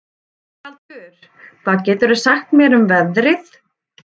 Rögnvaldur, hvað geturðu sagt mér um veðrið?